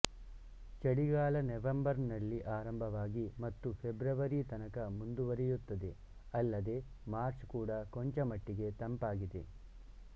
ಚಳಿಗಾಲ ನವೆಂಬರ್ನಲ್ಲಿ ಆರಂಭವಾಗಿ ಮತ್ತು ಫೆಬ್ರವರಿ ತನಕ ಮುಂದುವರಿಯುತ್ತದೆ ಅಲ್ಲದೆ ಮಾರ್ಚ್ ಕೂಡ ಕೊಂಚಮಟ್ಟಿಗೆ ತಂಪಾಗಿದೆ